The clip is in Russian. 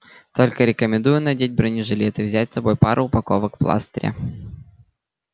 только рекомендую надеть бронежилет и взять с собой пару упаковок пластыря